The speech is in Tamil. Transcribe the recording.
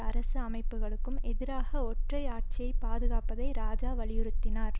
அரசு அமைப்புக்கும் எதிராக ஒற்றை ஆட்சியை பாதுகாப்பதை இராஜா வலியுறுத்தினார்